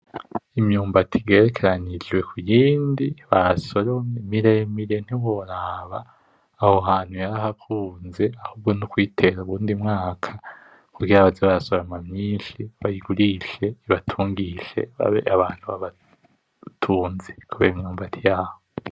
Imyimbuti igerekeranijwe kuyindi basoromye miremire ntiworaba, aho hantu yarahakunze ;ahubwo nukuyitera uwundi mwaka kugira baze barasoroma myinshi bayigurishe ibatungishe babe abantu babatunzi kubera imyumbati yabo.